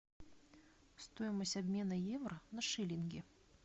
стоимость обмена евро на шиллинги